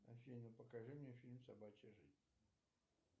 афина покажи мне фильм собачья жизнь